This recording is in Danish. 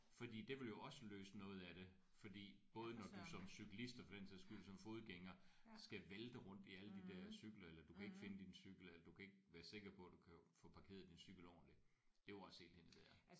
Fordi det ville jo også løse noget af det. Fordi både når du som cyklist og for den sags skyld som fodgænger skal vælte rundt i alle de der cykler eller du kan ikke finde din cykel eller du kan ikke være sikker på at du kan få parkeret din cykel ordenligt. Det er jo også helt hen i vejret